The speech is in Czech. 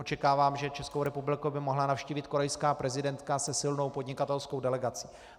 Očekávám, že Českou republiku by mohla navštívit korejská prezidentka se silnou podnikatelskou delegací.